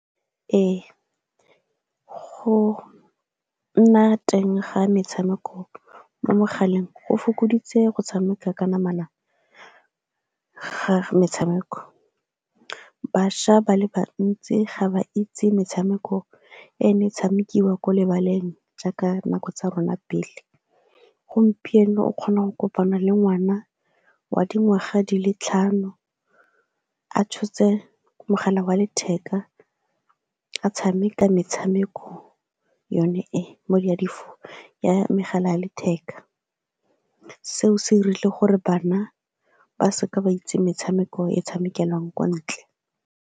Ee, go nna teng ga metshameko mo mogaleng, go fokoditse go tshameka ka namana ga metshameko. Bašwa ba le bantsi ga ba itse metshameko e ne e tshamekiwa kwa lebaleng jaaka nako tsa rona pele. Gompieno o kgonang kopana le ngwana wa dingwaga di le tlhano a tshotse mogala wa letheka a tshameka metshameko yone e ya megala ya letheka. Seo se dirile gore bana ba se ka ba itse metshameko e tshamekelang kwa ntle.